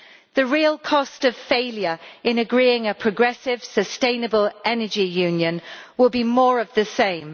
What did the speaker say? The real cost of failure in agreeing a progressive, sustainable Energy Union will be more of the same.